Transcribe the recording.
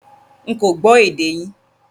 Nkọ́ gbò èdè yín